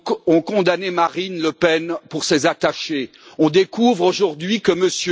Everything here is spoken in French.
On condamnait Marine Le Pen pour ses attachés, on découvre aujourd'hui que M.